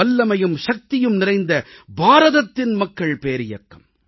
வல்லமையும் சக்தியும் நிறைந்த பாரதத்தின் மக்கள் பேரியக்கம்